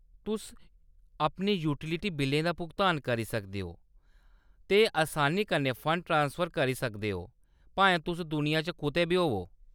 तुसअपने utility बिल्लें दा भुगतान करी सकदियां ओ, भुगतान करी सकदियां ओ ते असानी कन्नै फंड ट्रांसफर करी सकदियां ओ, भाएं तुस दुनिया च कुतै बी होवो।